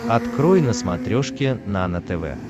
открой на смотрешке нано тв